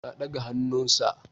Na daga hannu Sir